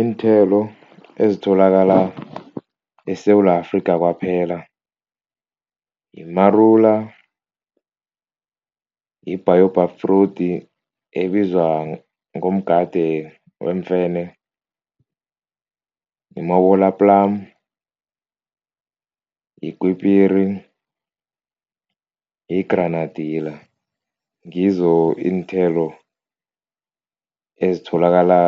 Iinthelo ezitholakala eSewula Afrika kwaphela yimarula, yi-baobab fruit ebizwa ngomgade wemfene, plum, yikwipiri, yi-granadilla, ngizo iinthelo ezitholakala